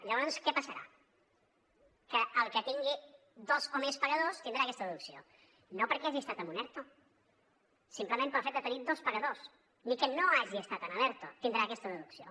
llavors què passarà que el que tingui dos o més pagadors tindrà aquesta deducció no perquè hagi estat en un erto simplement pel fet de tenir dos pagadors ni que no hagi estat a l’erto tindrà aquesta deducció